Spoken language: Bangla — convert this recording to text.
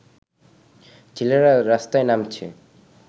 ছেলেরা রাস্তায় নামছে